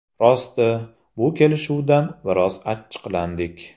Rosti, bu kelishuvdan biroz achchiqlandik.